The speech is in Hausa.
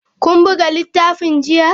Kun buga littafin jiya?